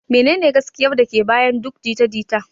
Menene gaskiyar da ke bayan duk jita-jita?